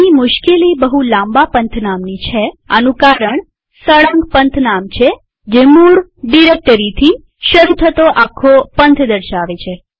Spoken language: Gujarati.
અહીં મુશ્કેલી બહું લાંબા પંથનામની છે આનું કારણ તે સળંગએબ્સોલ્યુટ પંથનામ છે જે મૂળરૂટ ડિરેક્ટરીથી શરુ થતો આખો પંથ દર્શાવે છે